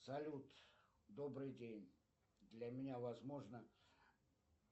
салют добрый день для меня возможно